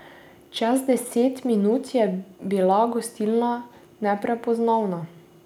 Čez deset minut je bila gostilna neprepoznavna.